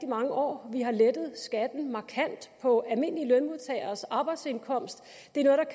mange år vi har lettet skatten markant på almindelige lønmodtageres arbejdsindkomst